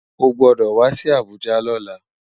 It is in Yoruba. Ó gbòdò wá si Abuja lòlá